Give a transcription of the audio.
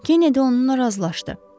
Kenide onunla razılaşdı.